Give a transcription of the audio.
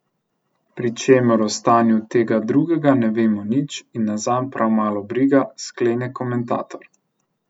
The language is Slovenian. Pri čemer o stanju tega drugega ne vemo nič in nas zanj prav malo briga, sklene komentator.